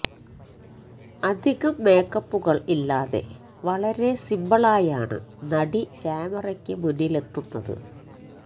അധികം മേക്കപ്പുകൾ ഇല്ലാതെ വളരെ സിമ്പിളായാണ് നടി ക്യാമറയ്ക്ക് മുന്നിലെത്തുന്നത്